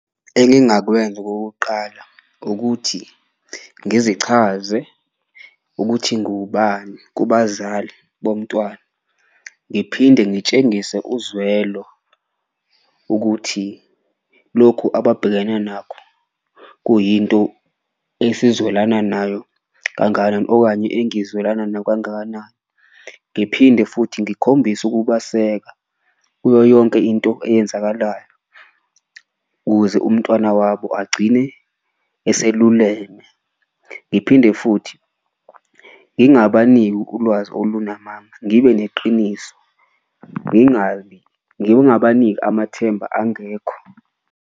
Engingakwenza okokuqala ukuthi ngizichaze ukuthi ngiwubani kubazali bomntwana, ngiphinde ngitshengise uzwelo ukuthi lokhu ababhekene nakho kuyinto esizwelana nayo kangakanani okanye engizwelana nayo kangakanani. Ngiphinde futhi ngikhombise ukubaseka kuyo yonke into eyenzakalayo ukuze umntwana wabo agcine eseluleme, ngiphinde futhi ngingabaniki ulwazi olungamanga, ngibe neqiniso, ngingabi ngingabaniki amathemba angekho.